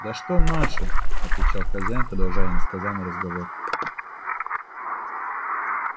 да что наши отвечал хозяин продолжая иносказанный разговор